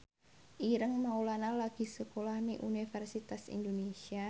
Ireng Maulana lagi sekolah nang Universitas Indonesia